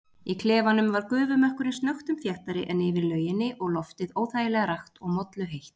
Í klefanum var gufumökkurinn snöggtum þéttari en yfir lauginni og loftið óþægilega rakt og molluheitt.